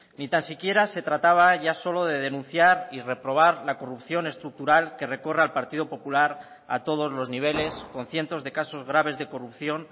ni tan siquiera se trataba ya solo de denunciar y reprobar la corrupción estructural que recurra al partido popular a todos los niveles con cientos de casos graves de corrupción